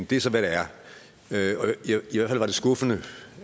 det er så hvad det er i hvert fald var det skuffende